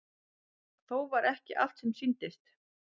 Þó var ekki allt sem sýndist.